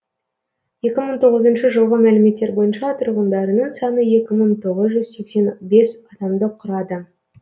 екі мың тоғызыншы жылғы мәліметтер бойынша тұрғындарының саны екі мың тоғыз жүз сексен бес адамды құрады